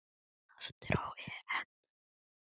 Aftur á EM.